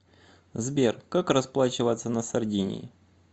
сбер как расплачиваться на сардинии